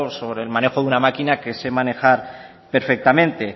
sobre el manejo de una maquina que sé manejar perfectamente